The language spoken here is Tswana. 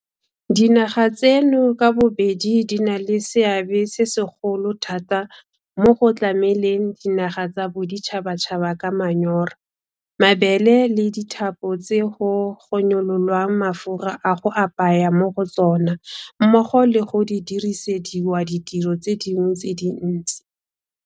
Dinaga tseno ka bobedi di na le seabe se segolo thata mo go tlameleng dinaga tsa boditšhabatšhaba ka manyora, mabele le dithapo tse go gonyololwang mafura a go apaya mo go tsona mmogo le go dirisediwa ditiro tse dingwe tse dintsi.